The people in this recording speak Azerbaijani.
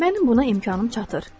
Mənim buna imkanım çatır.